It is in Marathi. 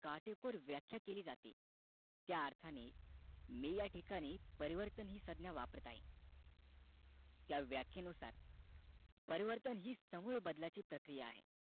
काटेकुर व्याख्या केली जाते त्या अर्थाने मी ह्या ठिकाणी परिवर्तन हि संज्ञा वापरत आहे व्याख्या नुसार परिवर्तन हि समूळ बदलाची प्रक्रिया आहे